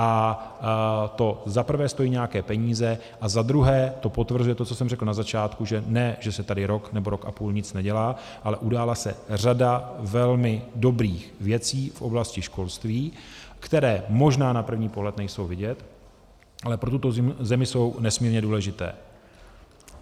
A to zaprvé stojí nějaké peníze a zadruhé to potvrzuje to, co jsem řekl na začátku, že ne že se tady rok nebo rok a půl nic nedělá, ale udělala se řada velmi dobrých věcí v oblasti školství, které možná na první pohled nejsou vidět, ale pro tuto zemi jsou nesmírně důležité.